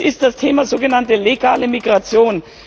Das ist das Thema der sogenannten legalen Migration.